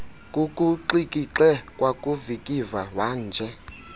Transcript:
kukuxikixe kwakuvikiva wanje